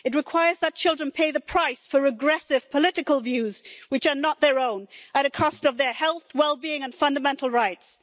It requires that children pay the price for regressive political views, which are not their own, at a cost of their health, well-being and fundamental rights.